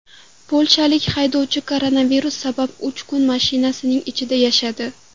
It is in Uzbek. Polshalik haydovchi koronavirus sabab uch kun mashinasining ichida yashadi.